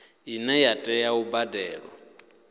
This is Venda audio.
ine ya tea u badelwa